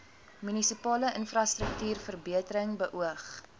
munisipale infrastruktuurverbetering beoog